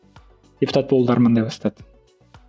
депутат болуды армандай бастады